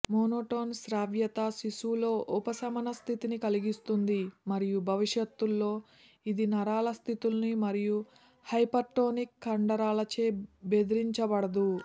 monotone శ్రావ్యత శిశువులో ఉపశమన స్థితిని కలిగిస్తుంది మరియు భవిష్యత్లో ఇది నరాల స్థితులు మరియు హైపర్టోనిక్ కండరాలచే బెదిరించబడదు